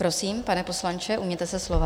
Prosím, pane poslanče, ujměte se slova.